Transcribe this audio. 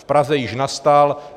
V Praze již nastal.